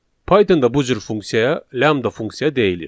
Pythonda bu cür funksiyaya lambda funksiya deyilir.